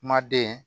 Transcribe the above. Kuma den